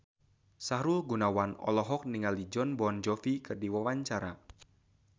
Sahrul Gunawan olohok ningali Jon Bon Jovi keur diwawancara